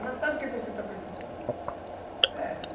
Ela sabe o que você está precisando.